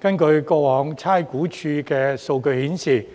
根據過往差餉物業估價署的數據顯示，